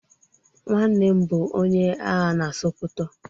Nwannem bu onye agha na sokoto.